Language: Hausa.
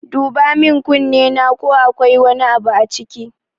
Duba min kunnena ko akwai wani abu a ciki